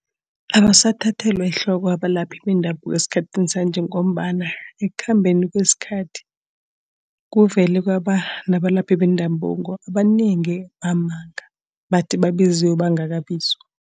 Abasathathelwa ehloko abalaphi bendabuko esikhathini sanje ngombana ekukhambeni kwesikhathi, kuvele kwaba nabalaphi bendabuko abanengi bamanga. Bathi babizwe bangaki bizwa.